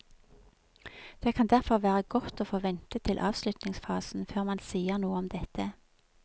Det kan derfor være godt å få vente til avslutningsfasen før man sier noe om dette.